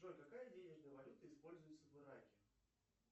джой какая денежная валюта используется в ираке